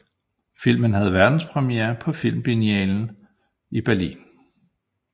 Filmen havde verdenspremiere på Filmfestivalen i Berlin